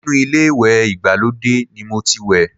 Inú ilé ìwẹ̀ ìgbàlódé ni mo ti wẹ̀